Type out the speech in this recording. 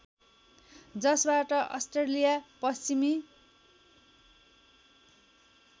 जसबाट अस्ट्रेलिया पश्चिमी